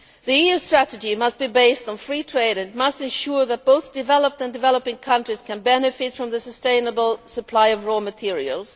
The EU strategy must be based on free trade and must ensure that both developed and developing countries can benefit from the sustainable supply of raw materials.